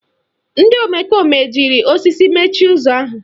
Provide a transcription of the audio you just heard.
Ndị omekome jiri osisi mechie ụzọ ahụ